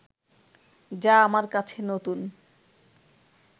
যা আমার কাছে নতুন